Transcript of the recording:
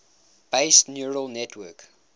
based neural network